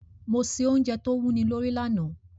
Mo se ounje to wúni lórí lanàá